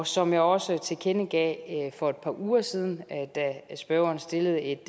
som jeg også tilkendegav for et par uger siden da spørgeren stillede et